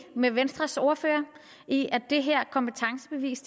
med venstres ordfører i at det her kompetencebevis